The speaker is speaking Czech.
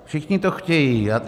Všichni to chtějí.